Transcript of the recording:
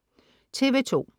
TV2: